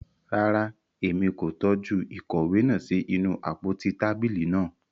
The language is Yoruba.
Rara, Èmí ko tọju ìkòwé náà sí inú àpótí tábìlì náà